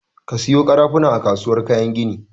Ka sayo ƙarafuna a kasuwar kayan gini!